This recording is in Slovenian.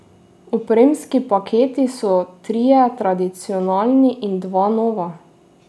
Opremski paketi so trije tradicionalni in dva nova.